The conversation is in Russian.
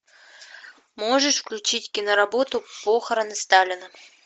можешь включить киноработу похороны сталина